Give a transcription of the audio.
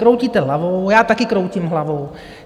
Kroutíte hlavou, já taky kroutím hlavou.